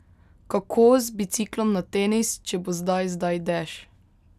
Kako z biciklom na tenis, če bo zdaj zdaj dež?